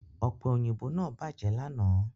Ọ̀pẹ òyìnbó náà bàjẹ́ lánàá